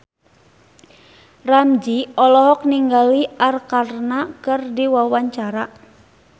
Ramzy olohok ningali Arkarna keur diwawancara